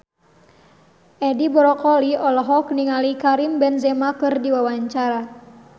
Edi Brokoli olohok ningali Karim Benzema keur diwawancara